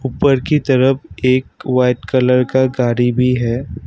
ऊपर की तरफ़ एक व्हाइट कलर का गाड़ी भी है।